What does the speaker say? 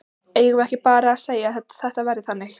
Eigum við ekki bara að segja að þetta verði þannig?